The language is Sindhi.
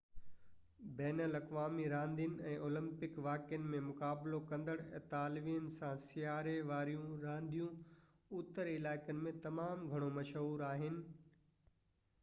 بين الاقوامي راندين ۽ اولمپڪ واقعن ۾ مقابلو ڪندڙ اطالوين سان سياري واريون رانديون اتر علائقن ۾ تمام گهڻو مشهور آهن